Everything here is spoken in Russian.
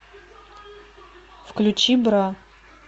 включи бра